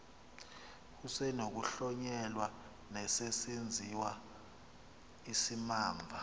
kusenokuhlonyelwa nesesenziwa isimamva